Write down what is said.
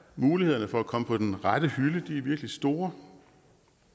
mulighederne for at komme på den rette hylde er virkelig store